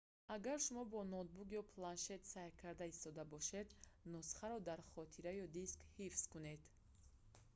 агар шумо бо ноутбук ё планшет сайр карда истода бошед нусхаро дар хотира ё диск ҳифз кунед бидуни интернет дастрас аст